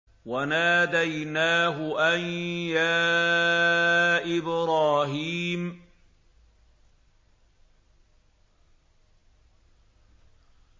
وَنَادَيْنَاهُ أَن يَا إِبْرَاهِيمُ